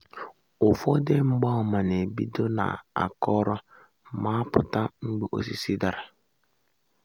ụfọdụ mgbaàmà na-ebido n’akọrọ ma apụta mgbe osisi dara.